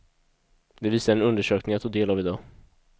Det visar en undersökning jag tog del av i dag.